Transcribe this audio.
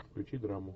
включи драму